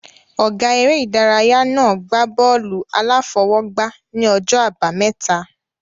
Ọ̀gá eré ìdárayá náà gbá bọ́ọ̀lù-aláfọwọ́gbá ní ọjọ́ àbámẹ́ta